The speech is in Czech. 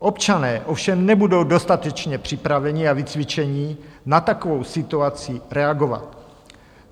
Občané ovšem nebudou dostatečně připraveni a vycvičeni na takovou situaci reagovat.